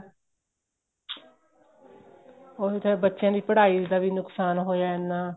ਉਹੀ ਤਾਂ ਹੈ ਬੱਚਿਆਂ ਦੀ ਪੜਾਈ ਦਾ ਵੀ ਨੁਕਸ਼ਾਨ ਹੋਇਆ ਹੈ ਐਨਾ